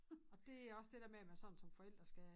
Det også det dér med at man sådan som forældre skal